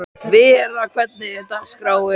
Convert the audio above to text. Vera, hvernig er dagskráin?